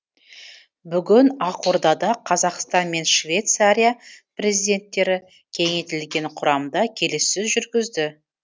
бүгін ақордада қазақстан мен швейцария президенттері кеңейтілген құрамда келіссөз жүргізді